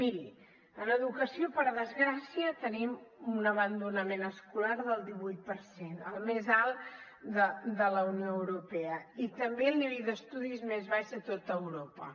miri en educació per desgràcia tenim un abandonament escolar del divuit per cent el més alt de la unió europea i també el nivell d’estudis més baix de tot europa